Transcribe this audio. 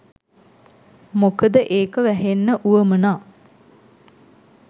මොකද ඒක වැහෙන්න වුවමනා